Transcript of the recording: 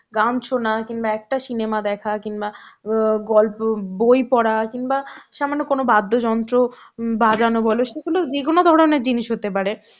গান শোনা কিংবা একটা cinema দেখা কিংবা অ্যাঁ গল্প~ বই পড়া কিংবা সামান্য কোনো বাদ্যযন্ত্র বাজানো বলো সেগুলো যেকোনো ধরনের জিনিস হতে পারে